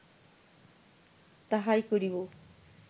তাহাই করিব